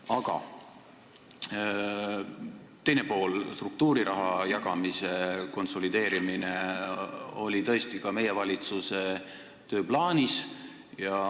Aga asja teine pool on see, et struktuuriraha jagamise konsolideerimine oli tõesti ka meie valitsuse tööplaanis.